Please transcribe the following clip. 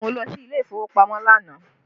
Mo lọ sí ilé ìfowópamọ́ lánàá